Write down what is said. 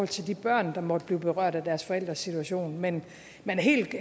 til de børn der måtte blive berørt af deres forældres situation men helt